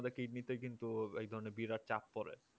আমাদের কিডনিতে কিন্ত একধরণের বিরাট চাপ পড়ে